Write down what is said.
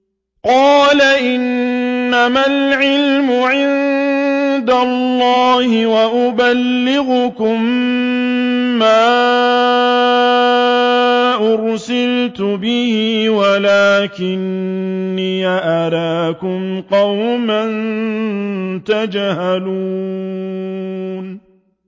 قَالَ إِنَّمَا الْعِلْمُ عِندَ اللَّهِ وَأُبَلِّغُكُم مَّا أُرْسِلْتُ بِهِ وَلَٰكِنِّي أَرَاكُمْ قَوْمًا تَجْهَلُونَ